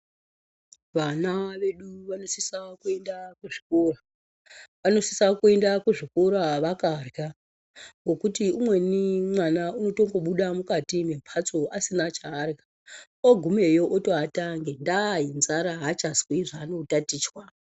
Vana vedu vanosisa kuenda kuzvikora. Vanosisa kuenda kuzvikora vakarya ngokuti umweni mwana unotombobuda mukati mwembatso asina chaarya. Ogumeyo otoata ngendaa yenzara, haachazwi zvaanotatichwa.